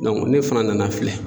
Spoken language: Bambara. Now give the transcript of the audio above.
ne fana nana filɛ